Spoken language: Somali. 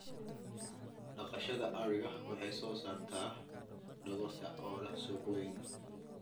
Dhaqashada adhiga waxay soo saartaa dhogorta oo leh suuq weyn.